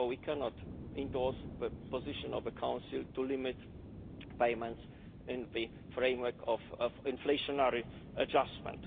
therefore we cannot endorse the position of the Council to limit payments in the framework of inflationary adjustment.